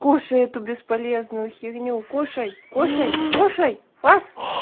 кушай эту бесполезную фигню кушай кушай кушай фас